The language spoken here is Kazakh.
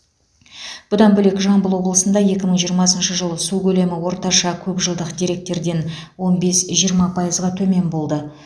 бұдан бөлек жамбыл облысында екі мың жиырмасыншы жылы су көлемі орташа көп жылдық деректерден он бес жиырма пайызға төмен болды